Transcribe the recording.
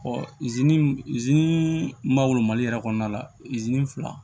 malo mali yɛrɛ kɔnɔna la fila